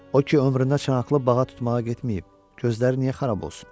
O ki ömründə çanaqlı bağa tutmağa getməyib, gözləri niyə xarab olsun?